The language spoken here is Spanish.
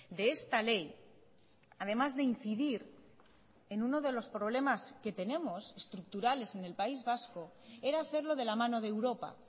de esta ley además de incidir en uno de los problemas que tenemos estructurales en el país vasco era hacerlo de la mano de europa